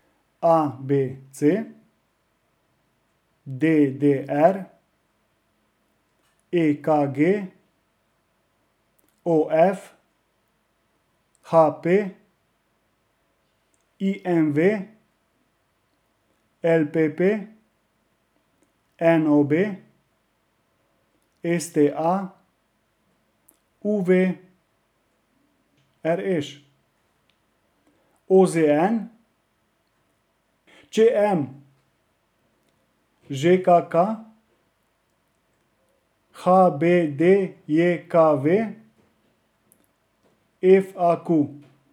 A B C; D D R; E K G; O F; H P; I M V; L P P; N O B; S T A; U V; R Š; O Z N; Č M; Ž K K; H B D J K V; F A Q.